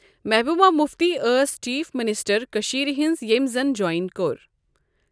محبوبا مفتی ٲس chief minister کٔشیٖر ہِنٛز ییٚمہِ زن جوین کوٚر۔